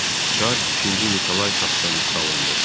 Çar İkinci Nikolay taxtdan salındı.